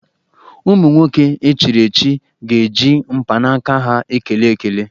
Ụmụ nwoke echiri echichi ga-eji mkpanaka ha ekele ekele.